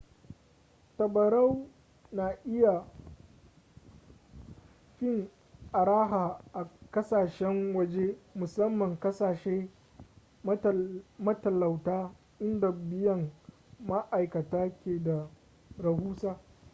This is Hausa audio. tabarau na iya fin araha a kasashen waje musamman kasashe matalauta inda biyan ma'aikata ke da rahusa